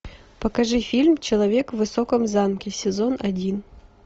покажи фильм человек в высоком замке сезон один